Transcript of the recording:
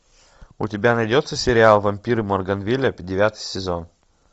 у тебя найдется сериал вампиры морганвилля девятый сезон